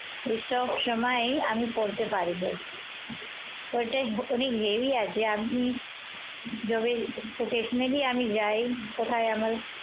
সবসময় আমি পরতে পারিব। এটা অনেক heavy আছে। আপনি যদি occasionally আমি যাই কোথাও